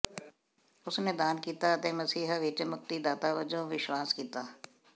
ਉਸ ਨੇ ਦਾਨ ਕੀਤਾ ਅਤੇ ਮਸੀਹ ਵਿੱਚ ਮੁਕਤੀਦਾਤਾ ਵਜੋਂ ਵਿਸ਼ਵਾਸ ਕੀਤਾ